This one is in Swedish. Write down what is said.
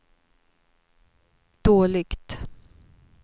dåligt